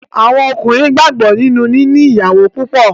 Àwọn Ọkùnrin gbàgbọ́ nínú níní ìyàwó púpọ̀.